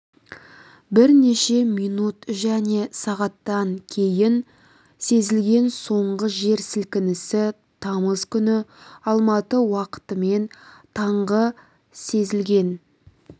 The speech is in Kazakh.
бірнеше минут және сағаттан кейін сезілген соңғы жер сілкінісі тамыз күні алматы уақытымен таңғы сезілен